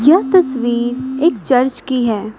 यह तस्वीर एक चर्च की है।